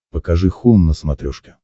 покажи хоум на смотрешке